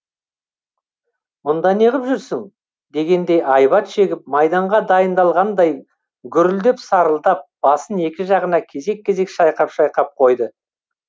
мұнда неғып жүрсің дегендей айбат шегіп майданға дайындалғандай гүрілдеп сарылдап басын екі жағына кезек кезек шайқап шайқап қойды